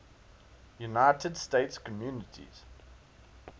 united states communities